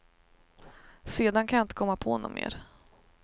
Sedan kan jag inte komma på något mer.